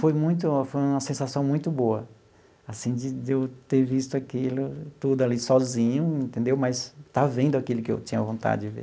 Foi muito foi uma sensação muito boa assim de de eu ter visto aquilo tudo ali sozinho entendeu, mas estar vendo aquilo que eu tinha vontade de ver.